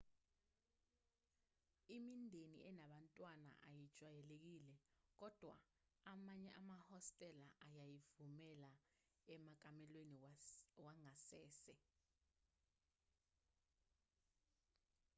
imindeni enabantwana ayijwayelekile kodwa amanye amahostela ayayivumela emakamelweni wangasese